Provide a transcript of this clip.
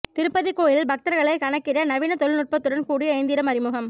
திருப்பதி கோயிலில் பக்தர்களை கணக்கிட நவீன தொழில்நுட்பத்துடன் கூடிய எந்திரம் அறிமுகம்